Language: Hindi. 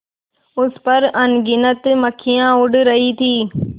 उस पर अनगिनत मक्खियाँ उड़ रही थीं